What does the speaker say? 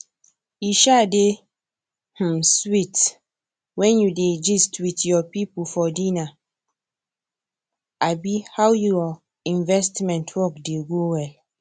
e um dey um sweet when you dey gist with your people for dinner um how your investment work dey go well